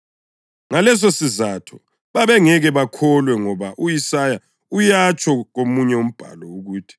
Ngalesisizatho babengeke bakholwa ngoba u-Isaya uyatsho komunye umbhalo ukuthi: